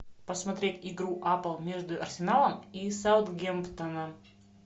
посмотреть игру апл между арсеналом и саутгемптоном